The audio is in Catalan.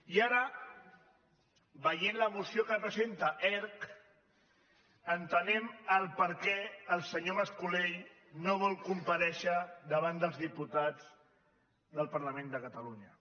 i ara veient la moció que presenta erc entenem per què el senyor mas colell no vol comparèixer davant dels diputats del parlament de catalunya